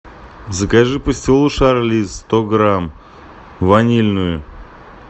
закажи пастилу шарлиз сто грамм ванильную